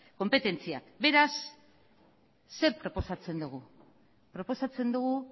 konpetentziak beraz zer proposatzen dugu proposatzen dugu